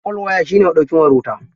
Folwaya shi ne maɗaukin wayar wuta..